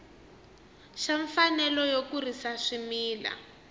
xa mfanelo yo kurisa swimila